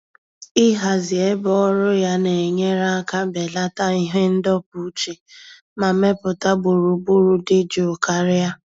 Ịhazi ebe ọrụ ya na-enyere aka belata ihe ndọpụ uche ma mepụta gburugburu dị jụụ karịa.